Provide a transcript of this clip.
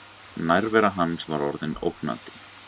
Nærvera hans var orðin ógnandi.